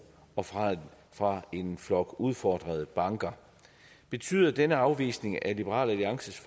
og fra fra en flok udfordrede banker betyder denne afvisning af liberal alliances